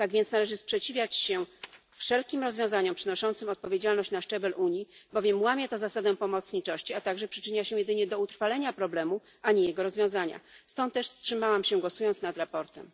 Tak więc należy sprzeciwiać się wszelkim rozwiązaniom przenoszącym odpowiedzialność na szczebel Unii, bowiem łamie to zasadę pomocniczości, a także przyczynia się jedynie do utrwalenia problemu, a nie jego rozwiązania, stąd też wstrzymałam się, głosując nad sprawozdaniem.